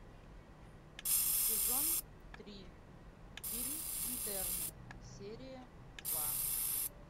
сезон три фильм интерны серия два